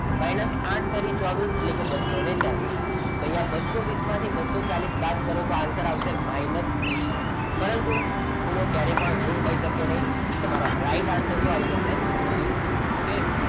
minus આઠ તારી ચોવીસ એટલે કે બસો ચાલીસ તો અહીંયા બસો વીસ માંથી બસો ચાલીસ બાદ કરો તો answer આવશે minus વીસ પરંતુ ખૂણો ક્યારે પણ ઋણ હોઈ શકે નહીં. તમારો right answer શું આવી શકશે વીસ ડિગ્રી okay?